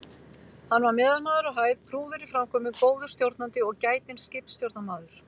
Hann var meðalmaður á hæð, prúður í framkomu, góður stjórnandi og gætinn skipstjórnarmaður.